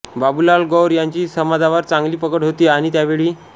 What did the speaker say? बाबुलाल गौर यांची समाजावर चांगली पकड होती आणि त्यावेळी